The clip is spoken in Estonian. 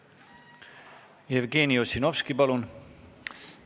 Jevgeni Ossinovski, palun!